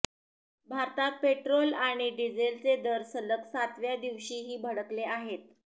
भारतात पेट्रोल आणि डिझेलचे दर सलग सातव्या दिवशीही भडकले आहेत